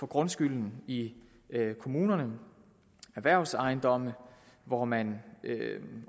grundskylden i kommunerne erhvervsejendomme hvor man